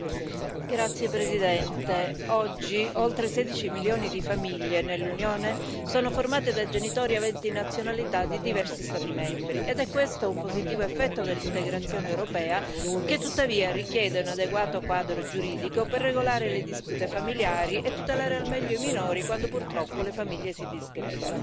Signor Presidente, onorevoli colleghi, oggi oltre 16 milioni di famiglie nell'Unione sono formate da genitori aventi nazionalità di diversi Stati membri. Questo è un positivo effetto dell'integrazione europea, che tuttavia richiede un adeguato quadro giuridico per regolare le dispute familiari e tutelare al meglio i minori quando, purtroppo, le famiglie si disgregano.